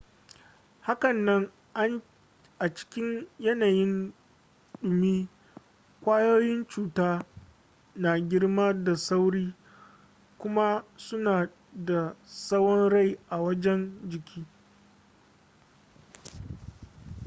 hakanan a cikin yanayin dumi kwayoyin cuta na girma da sauri kuma suna da tsawon rai a wajen jiki